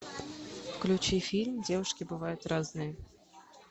включи фильм девушки бывают разные